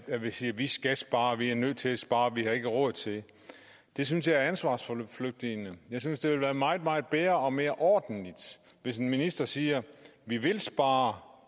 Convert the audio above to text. sige vi skal spare vi er nødt til at spare vi har ikke råd til det det synes jeg er ansvarsforflygtigende jeg synes det ville være meget meget bedre og mere ordentligt hvis en minister siger vi vil spare